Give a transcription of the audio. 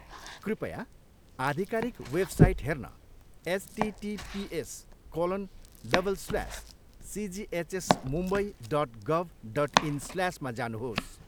कृपया आधिकारिक वेबसाइट हेर्न HTTPS colon double slash CGHS Mumbai dot गभ dot इन् स्ल्यास मा जानुहोस्।